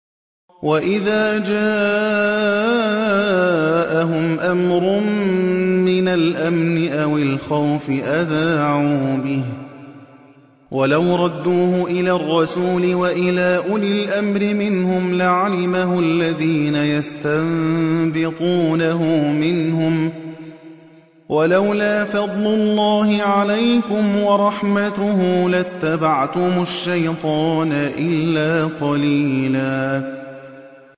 وَإِذَا جَاءَهُمْ أَمْرٌ مِّنَ الْأَمْنِ أَوِ الْخَوْفِ أَذَاعُوا بِهِ ۖ وَلَوْ رَدُّوهُ إِلَى الرَّسُولِ وَإِلَىٰ أُولِي الْأَمْرِ مِنْهُمْ لَعَلِمَهُ الَّذِينَ يَسْتَنبِطُونَهُ مِنْهُمْ ۗ وَلَوْلَا فَضْلُ اللَّهِ عَلَيْكُمْ وَرَحْمَتُهُ لَاتَّبَعْتُمُ الشَّيْطَانَ إِلَّا قَلِيلًا